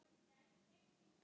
Hvað ertu að fela?